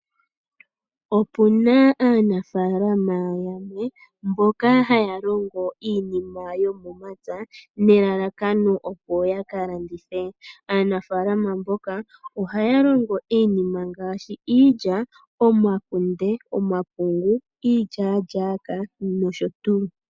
Opuna aanafalama yamwe mboka haya longo iinima yomomapya nelalakano opo yakalandithe. Aanafalama mboka ohaya longo iinima ngaashi iilya, omakunde, omapungu, iilyalyaka noshotu.